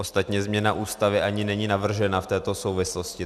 Ostatně změna Ústavy ani není navržena v této souvislosti.